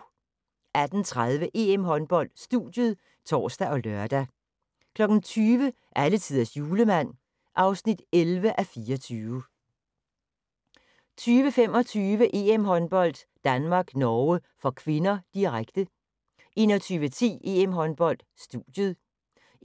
18:30: EM-håndbold: Studiet (tor og lør) 20:00: Alletiders Julemand (11:24) 20:25: EM-håndbold: Danmark-Norge (k), direkte 21:10: EM-håndbold: Studiet